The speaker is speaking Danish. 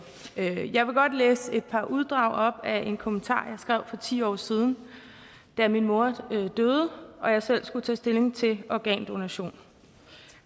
jeg vil godt læse et par uddrag op af en kommentar skrev for ti år siden da min mor døde og jeg selv skulle tage stilling til organdonation